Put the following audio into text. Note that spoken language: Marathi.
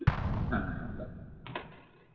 हा हा bye